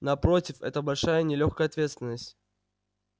напротив это большая и нелёгкая ответственность